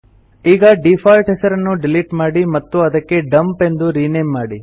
ಈಗ ಡೀಫಾಲ್ಟ್ ಹೆಸರನ್ನು ಡಿಲಿಟ್ ಮಾಡಿ ಮತ್ತು ಅದಕ್ಕೆ ಡಂಪ್ ಎಂದು ರಿನೇಮ್ ಮಾಡಿ